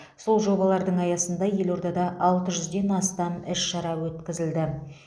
сол жобалардың аясында елордада алты жүзден астам іс шара өткізілді